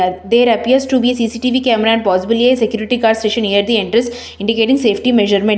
At there appears to be C_C T_V camera and possibly a security guard station near the entrance indicating safety measurement.